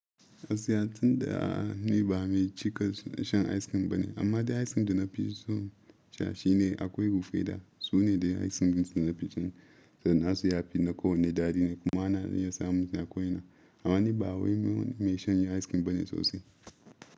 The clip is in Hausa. Gaskiya tun da a ni ba mai cika shan ice cream bane, amma dai ice cream da na fi so sha shi ne akwai Rufaida da su ne dai ice cream da na fi cin sa. Na su ya fi na kowanne daɗi ne kuma ana iya samun su a ko ina. Amma ni ba wanda mai shan ice cream bane sosai.